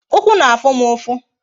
Ụkwụ na-afụ m ụfụ